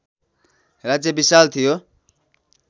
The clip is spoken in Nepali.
राज्य विशाल थियो